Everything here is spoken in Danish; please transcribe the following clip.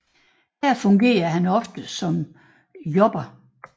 Her fungerede han oftest som jobber